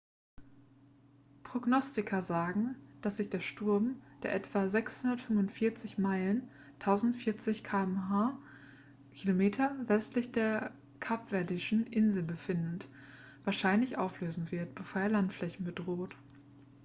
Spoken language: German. prognostiker sagen dass sich der sturm der etwa 645 meilen 1040 km westlich der kapverdischen inseln befindet wahrscheinlich auflösen wird bevor er landflächen bedroht